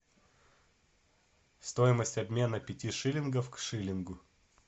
стоимость обмена пяти шиллингов к шиллингу